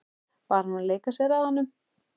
Var hún að leika sér að honum?